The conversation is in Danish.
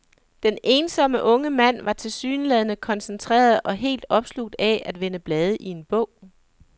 Den ensomme unge mand var tilsyneladende koncentreret og helt opslugt af at vende blade i en bog.